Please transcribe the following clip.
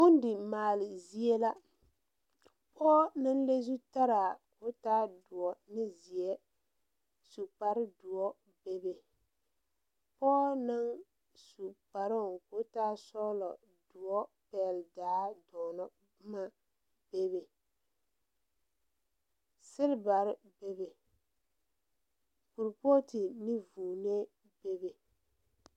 Bondi maale zie la pɔɔ naŋ le zutaraa ko taa doɔ ane zeɛ su kpare doɔ bebe pɔɔ naŋ su kparoo koo taa sɔglɔ doɔ pɛgle daa dɔɔnɔ boma bebe silbarre bebe kuripootu ne vūūnee bebe.